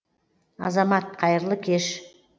азамат қайырлы кеш